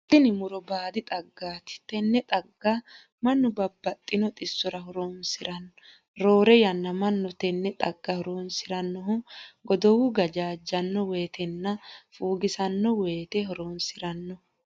Tinni muro baadi xaggaati. Tenne xagga Manu babbaxitino xisora horoonsirano. Roore yanna Manu tenne xagga horoonsiranohu goduwu gajaajano woyetenna fuugisano woyite horoonsirano.